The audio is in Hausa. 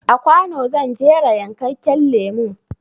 A kwano zan jera yankakken lemon